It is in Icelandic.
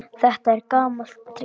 Þetta er gamalt trix.